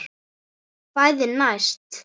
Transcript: Kvæðin næst?